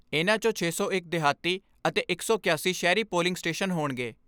ਇਨ੍ਹਾਂ 'ਚੋਂ ਛੇ ਸੌ ਇੱਕ ਦਿਹਾਤੀ ਅਤੇ ਇੱਕ ਸੌ ਅੱਸੀ ਸ਼ਹਿਰੀ ਪੋਲਿੰਗ ਸਟੇਸ਼ਨ ਹੋਣਗੇ।